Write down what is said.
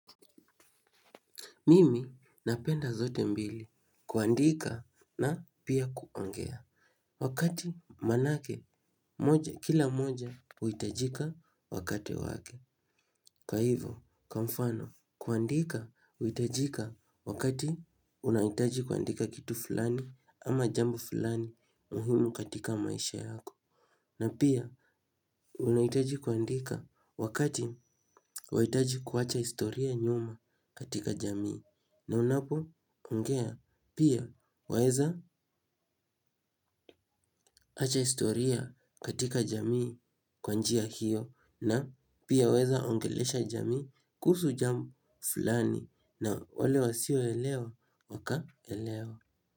Mimi napenda zote mbili kuandika na pia kuongea. Wakati manake, moja, kila moja, huhiitajika wakati wake. Kwa hivyo, kwa mfano, kuandika, huhitajika wakati unahitaji kuandika kitu fulani ama jambo fulani muhimu katika maisha yako. Na pia, unahitaji kuandika wakati wahitaji kuwacha historia nyuma katika jamii. Na unapo ongea pia waeza acha historia katika jamii kwa njia hiyo na pia waeza ongelesha jamii kuhusu jambo fulani na wale wasio elewa waka elewa.